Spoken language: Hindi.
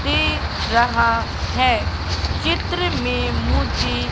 दे रहा है चित्र में मुझे--